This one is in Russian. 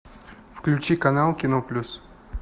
включи канал кино плюс